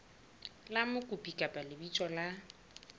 la mokopi kapa lebitso la